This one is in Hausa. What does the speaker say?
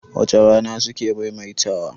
wace Rana suke maimaita wa?